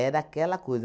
Era aquela coisa.